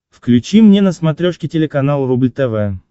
включи мне на смотрешке телеканал рубль тв